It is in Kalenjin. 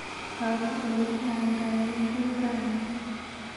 Kawe olekialdae ngwek rani.